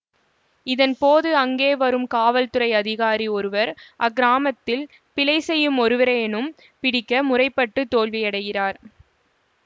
இதன் போது அங்கே வரும் காவல்துறை அதிகாரி ஒருவர் அக்கிராமத்தில் பிழை செய்யும் ஒருவரையேனும் பிடிக்க முற்பட்டு தோல்வியடைகிறார்